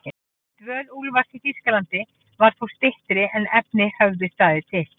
Dvöl Úlfars í Þýskalandi varð þó styttri en efni höfðu staðið til.